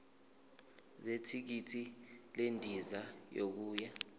zethikithi lendiza yokuya